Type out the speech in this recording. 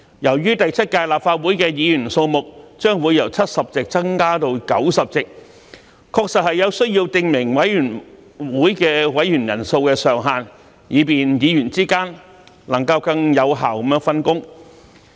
由於第七屆立法會的議員數目將會由70席增至90席，確實有需要訂明委員會委員人數上限，以便議員之間能更有效分工。